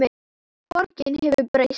Borgin hefur breyst.